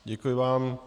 Děkuji vám.